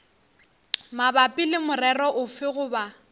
mabapi le morero ofe goba